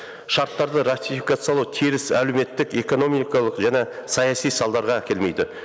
шарттарды ратификациялау теріс әлеуметтік экономикалық және саяси салдарға әкелмейді